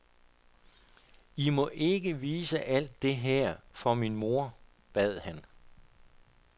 I må ikke vise alt det her for min mor, bad han.